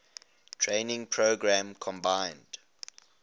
training program combined